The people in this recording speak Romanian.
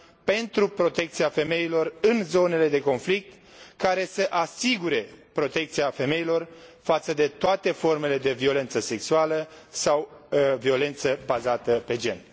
pentru protecția femeilor în zonele de conflict, care să asigure protecția femeilor față de toate formele de violență sexuală sau violență bazată pe gen.